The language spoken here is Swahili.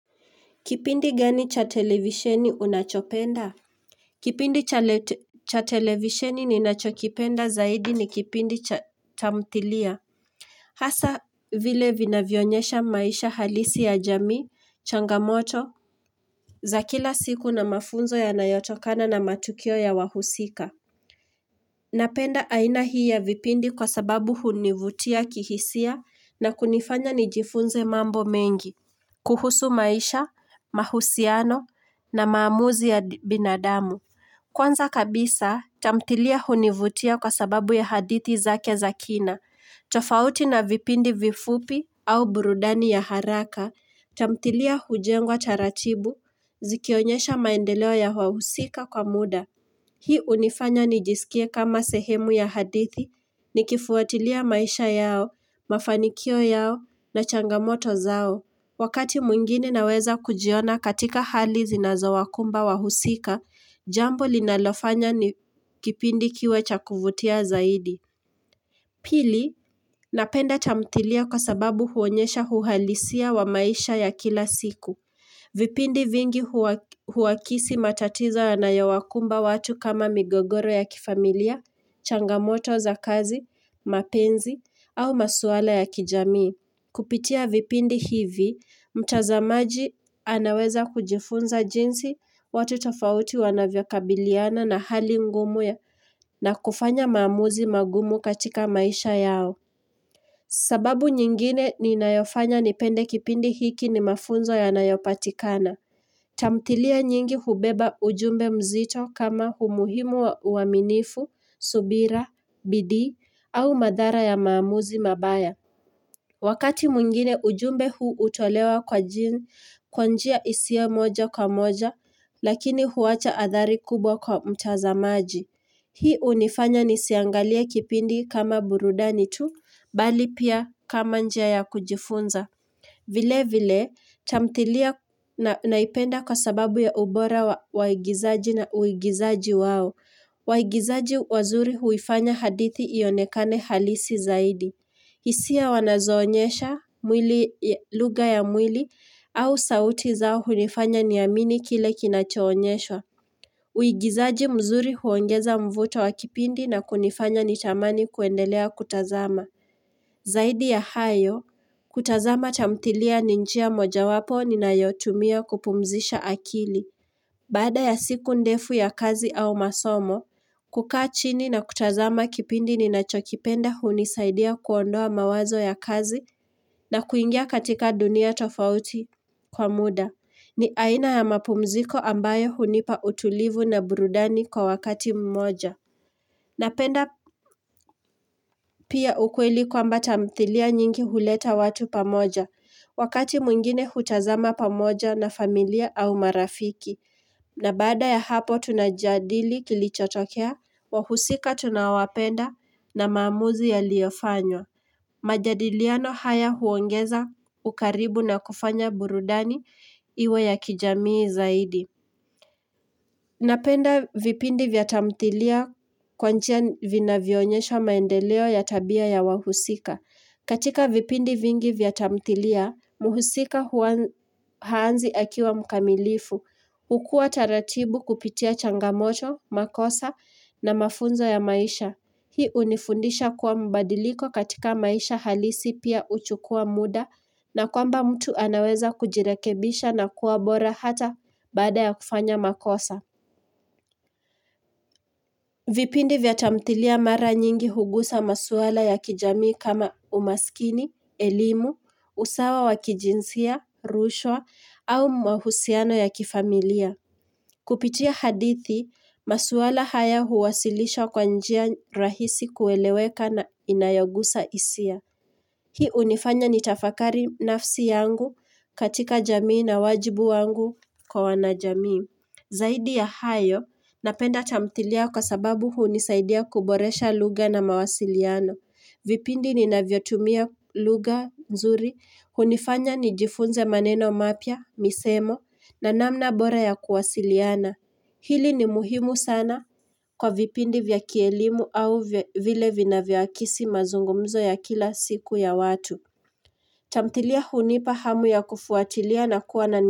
Kipindi gani cha televisheni unachopenda? Kipindi cha televisheni ninachokipenda zaidi ni kipindi cha tamthilia. Hasa vile vinavyonyesha maisha halisi ya jamii, changamoto, za kila siku na mafunzo yanayotokana na matukio ya wahusika. Napenda aina hii ya vipindi kwa sababu hunivutia kihisia na kunifanya nijifunze mambo mengi. Kuhusu maisha, mahusiano na maamuzi ya binadamu. Kwanza kabisa, tamthilia hunivutia kwa sababu ya hadithi zake za kina. Tofauti na vipindi vifupi au burudani ya haraka, tamthilia hujengwa taratibu, zikionyesha maendeleo ya wahusika kwa muda. Hii unifanya nijisikie kama sehemu ya hadithi nikifuatilia maisha yao, mafanikio yao na changamoto zao. Wakati mwingine naweza kujiona katika hali zinazowakumba wahusika, jambo linalofanya kipindi kiwe cha kuvutia zaidi. Pili, napenda tamthilia kwa sababu huonyesha uhalisia wa maisha ya kila siku. Vipindi vingi huwakisi matatiza yanayowakumba watu kama migogoro ya kifamilia, changamoto za kazi, mapenzi, au maswala ya kijamii. Kupitia vipindi hivi, mtazamaji anaweza kujifunza jinsi watu tofauti wanavyokabiliana na hali ngumu ya na kufanya maamuzi magumu katika maisha yao. Sababu nyingine ni inayofanya nipende kipindi hiki ni mafunzo yanayopatikana. Tamthilia nyingi hubeba ujumbe mzito kama umuhimu wa uaminifu, subira, bidii, au madhara ya maamuzi mabaya. Wakati mwingine ujumbe huu utolewa kwa jini, kwanjia isiyo moja kwa moja, lakini huwacha athari kubwa kwa mtazamaji. Hii unifanya nisiangalia kipindi kama burudani tu, bali pia kama njia ya kujifunza. Vile vile, tamthilia naipenda kwa sababu ya ubora wa waigizaji na uigizaji wao. Waigizaji wazuri huifanya hadithi ionekane halisi zaidi. Hisia wanazoonyesha mwili ya lugha ya mwili au sauti zao hunifanya niamini kile kinachoonyeshwa. Uigizaji mzuri huongeza mvuto wa kipindi na kunifanya nitamani kuendelea kutazama. Zaidi ya hayo, kutazama tamthilia ni njia mojawapo ni ninayotumia kupumzisha akili. Bada ya siku ndefu ya kazi au masomo, kukaa chini na kutazama kipindi ni nachokipenda hunisaidia kuondoa mawazo ya kazi na kuingia katika dunia tofauti kwa muda, ni aina ya mapumziko ambayo hunipa utulivu na burudani kwa wakati mmoja. Napenda pia ukweli kwamba tamthilia nyingi huleta watu pamoja, wakati mwingine hutazama pamoja na familia au marafiki. Na baada ya hapo tunajadili kilichotokea, wahusika tunawapenda na maamuzi yaliyofanywa. Majadiliano haya huongeza ukaribu na kufanya burudani iwe ya kijamii zaidi. Napenda vipindi vya tamthilia kwa njia vinavyoonyesha maendeleo ya tabia ya wahusika. Katika vipindi vingi vya tamthilia, muhusika huanz haanzi akiwa mkamilifu. Ukua taratibu kupitia changamoto, makosa na mafunzo ya maisha. Hii unifundisha kuwa mbadiliko katika maisha halisi pia huchukua muda na kwamba mtu anaweza kujirekebisha na kuwa bora hata baada ya kufanya makosa vipindi vya tamthilia mara nyingi hugusa maswala ya kijamii kama umaskini, elimu, usawa wakijinsia, rushwa au mahusiano ya kifamilia Kupitia hadithi, maswala haya huwasilisha kwa njia rahisi kueleweka na inayogusa hisia. Hii unifanya nitafakari nafsi yangu katika jamii na wajibu wangu kwa wanajamii. Zaidi ya hayo, napenda tamthilia kwa sababu hunisaidia kuboresha lugha na mawasiliano. Vipindi ni navyotumia lugha nzuri, hunifanya nijifunze maneno mapya, misemo, na namna bora ya kuwasiliana. Hili ni muhimu sana Kwa vipindi vya kielimu au vile vinavyoakisi mazungumzo ya kila siku ya watu tamthilia hunipa hamu ya kufuatilia na kuwa na ni.